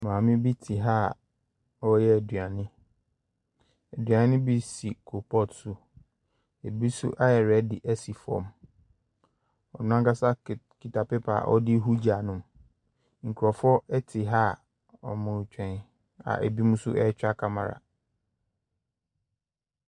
Maame bi te ha a ɔreyɛ aduane. Aduane bi si coal pot mu, ɛbi nso ayɛ ready si fam. Ɔno ankasa ki kita paper a ɔde rehu gya no mu. Nkurɔfoɔ te ha a wɔretwɛn a ɛbinom nso retwa camera.